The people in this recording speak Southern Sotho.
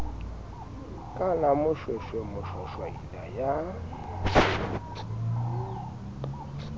ka la moshweshwe moshwashwaila ya